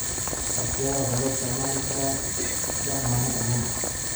Shatiyada waxaa loo isticmaali karaa dammaanad ahaan.